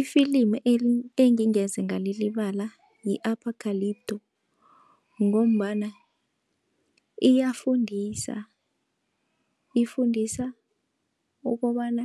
Ifilimi engingeze ngalilibala yi-apocalypto, ngombana iyafundisa, ifundisa ukobana